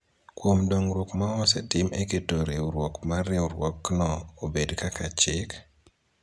kuom dongruok ma osetim e keto riwruok mar riwruokno obed kaka chik,